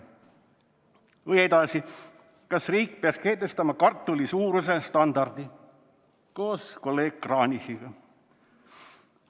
Või edasi: "Kas riik peaks kehtestama kartulisuuruse standardi?", koos kolleeg Kranichiga.